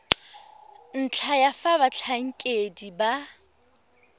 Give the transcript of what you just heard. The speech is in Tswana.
ntlha ya fa batlhankedi ba